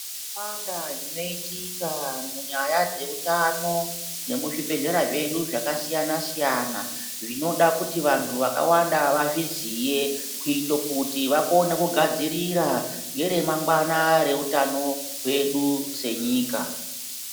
Zvakawanda zvinoitika munyaya dzeutano nemuzvibhedhlera zvedu zvakasiya-siyana, zvinoda kuti vantu vakawanda vazviziye ,kuite kuti vakone kugadzirira ngeremangwana reutano hwedu senyika.